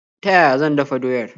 Ta yaya zan dafa doyar?